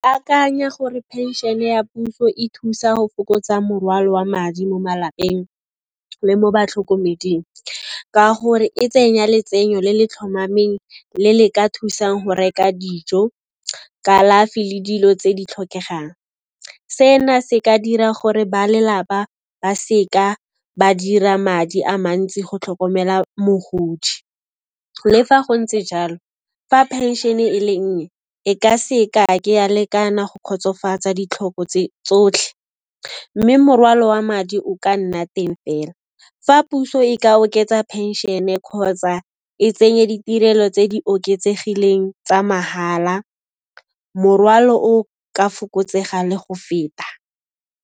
Akanya gore phenšhene ya puso e thusa ho fokotsa morwalo wa madi mo malapeng le mo batlhokomeding ka gore e tsenya letsenyo le le tlhomameng, le le ka thusang go reka dijo, kalafi le dilo tse di tlhokegang. Sena se ka dira gore ba lelapa ba seka ba dira madi a mantsi go tlhokomela mogodi. Le fa go ntse jalo, fa phenšene e le nnye, e ka se ka ke ya lekana go kgotsofatsa ditlhoko tsotlhe, mme morwalo wa madi o ka nna teng fela. Fa puso e ka oketsa phenšene kgotsa e tsenye ditirelo tse di oketsegileng tsa mahala, morwalo o ka fokotsega le go feta.